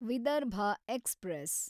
Vidarbha express